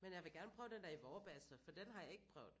Men jeg vil gerne prøve den der i Vorbasse for den har jeg ikke prøvet